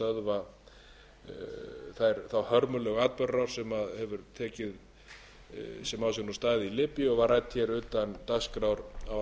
atburðarás sem á sér nú stað í líbíu og var rædd hér utan dagskrár á